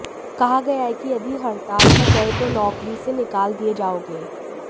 कहा गया है कि यदि हड़ताल पर गए तो नौकरी से निकाल दिए जाओगे